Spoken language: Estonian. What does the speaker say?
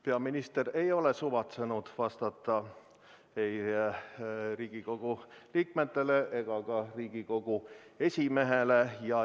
Peaminister ei ole suvatsenud vastata ei Riigikogu esimehele ega ka Riigikogu teistele liikmetele.